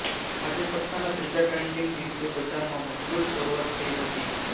આજે સપ્તાહના ત્રીજા ટ્રેડિંગ દિવસે બજારમાં મજબૂત શરૂઆત થઈ હતી